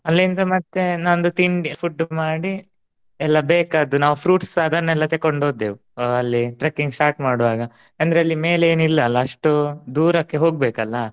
ಅಲ್ಲಿಂದ ಮತ್ತೆ ನಂದು ತಿಂಡಿ food ಮಾಡಿ ಎಲ್ಲಾ ಬೇಕಾದ್ದು ನಾವು fruit ಸ ಅದನ್ನೆಲ್ಲ ತೆಕೊಂಡು ಹೊದ್ದೇವು ಅ~ ಅಲ್ಲಿ trekking start ಮಾಡುವಾಗ ಅಂದ್ರೆ ಅಲ್ಲಿ ಮೇಲೆ ಏನಿಲ್ಲ ಅಲಾ ಅಷ್ಟು ದೂರಕ್ಕೆ ಹೋಗ್ಬೇಕಲಾ.